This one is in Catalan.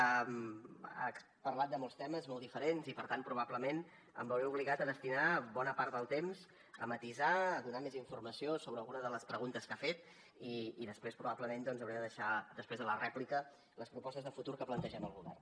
ha parlat de molts temes molt diferents i per tant probablement em veuré obligat a destinar bona part del temps a matisar a donar més informació sobre alguna de les preguntes que ha fet i després probablement doncs hauré de deixar després de la rèplica les propostes de futur que plantegem el govern